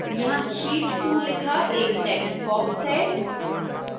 यहां sheet 2 लिखा एक textbox है